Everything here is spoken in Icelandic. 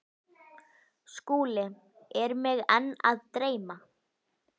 SKÚLI: Er mig enn að dreyma?